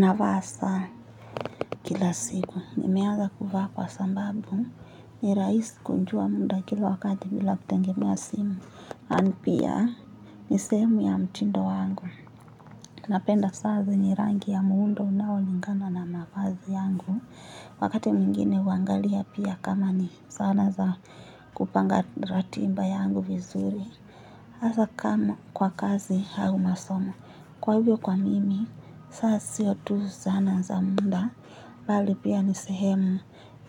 Navaa saa kila siku nimeaza kufa kwa sambabu ni raisi kunjua munda kila wakati bila kutengemea simu. Ani pia ni sehemu ya mtindo wangu. Napenda saa zenye rangi ya muundo unaolingana na mavazi yangu. Wakati mwingine uangalia pia kama ni sanaa za kupanga ratiba yangu vizuri. Asa kama kwa kazi hau masomo. Kwa hivyo kwa mimi, saa sio tu zana za munda, bali pia ni sehemu